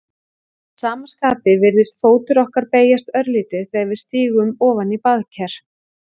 Að sama skapi virðist fótur okkar beygjast örlítið þegar við stígum ofan í baðker.